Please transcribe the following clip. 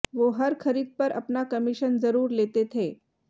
वो हर खरीद पर अपना कमीशन जरूर लेते थे